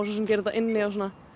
gera þetta inni og